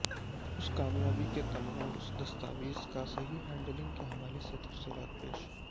اس کامیابی کے تمام اس دستاویز کا صحیح ہینڈلنگ کے حوالے سے تفصیلات پیش